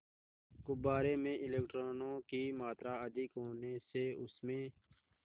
गुब्बारे में इलेक्ट्रॉनों की मात्रा अधिक होने से उसमें